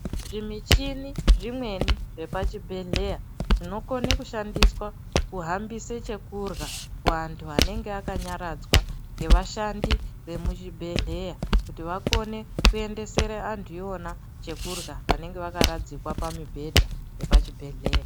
Zvimichini zvimweni zvepachibhedhlera zvinokone kushandiswa kuhambise chekurya kuantu anenge akanyaradzwa ngevashandi vemuchibhedhlera kuti akone kuendesere antu iwona chekurya vanenge vakaradzikwa pamibhedha yepachibhedhlera.